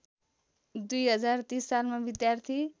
२०३० सालमा विद्यार्थी